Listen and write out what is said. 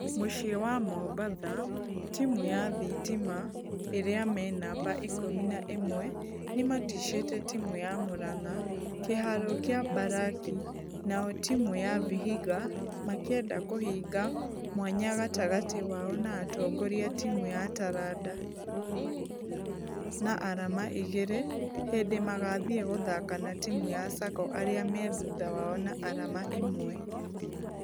Mũcii wa mombatha, timũ ya thitima arĩa menamba ikũmi na ĩmwe ....nĩmatishĩte timũ ya muranga kĩharo gia mbaraki nao timũ ya vihiga makĩenda kũhinga mwanya gatagatĩ wao na atongoria timũ ya taranda na arama igĩrĩ hĩndĩ magathie gũthaka na timũ ya sacco arĩa me thutha wao na arama ĩmwe.